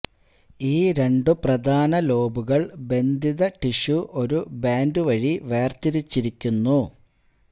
ഈ രണ്ടു പ്രധാന ലോബുകൾ ബന്ധിത ടിഷ്യു ഒരു ബാൻഡ് വഴി വേർതിരിച്ചിരിക്കുന്നു